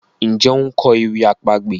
Njé o nkọ ewì àpagbè?